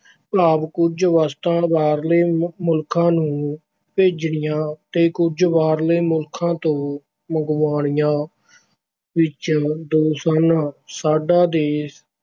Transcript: ਭਾਵ ਕੁੱਝ ਵਸਤਾਂ ਬਾਹਰਲੇ ਮੁਲਕਾਂ ਨੂੰ ਭੇਜਣੀਆਂ ਤੇ ਕੁੱਝ ਬਾਹਰਲੇ ਮੁਲਕਾਂ ਤੋਂ ਮੰਗਵਾਉਣੀਆਂ ਵਿੱਚ ਦੋਸ਼ ਹਨ। ਸਾਡਾ ਦੇਸ਼